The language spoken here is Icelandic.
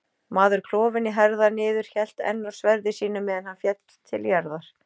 Maður klofinn í herðar niður hélt enn á sverði sínu meðan hann féll til jarðar.